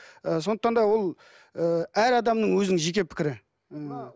ы сондықтан да ол ы әр адамның өзінің жеке пікірі